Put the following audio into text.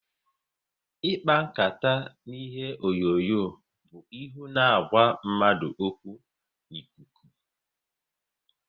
Ịkpa nkata na ihe onyonyo bụ ihu na ịgwa mmadụ okwu n'ikuku